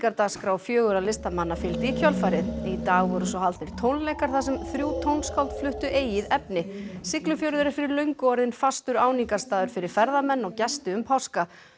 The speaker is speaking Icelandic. gjörningadagskrá fjögurra listamanna fylgdi í kjölfarið í dag voru svo haldnir tónleikar þar sem þrjú tónskáld fluttu eigið efni Siglufjörður er fyrir löngu orðinn fastur áningarstaður fyrir ferðamenn og gesti um páska